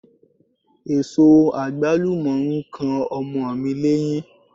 Èso àgbálù mọ̀ ń kan ọmọ mi léyín.